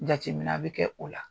Jateminɛ bɛ kɛ o la